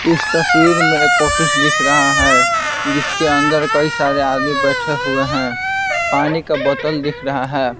इस तस्वीर में एक ऑफिस दिख रहा है जिसके अंदर कई सारे आदमी बैठे हुए हैं पानी का बोतल दिख रहा है।